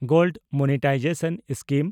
gold monetisation scheme